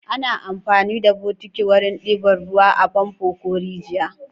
Ana amfani da bokiti wurin ɗiba ruwa a famfo ko rijiya.